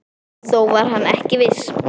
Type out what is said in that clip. Þó var hann ekki viss.